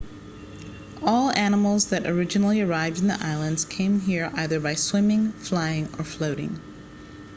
all animals that originally arrived in the islands came here either by swimming flying or floating